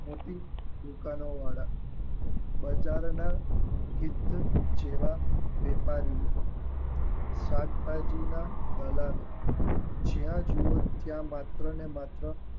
મોટી દુકાનો વાળા બજારના કેતે જેવા વેપારીઓ શાકભાજીના બગાડો જ્યાં જુઓ ત્યાં માત્ર ને માત્ર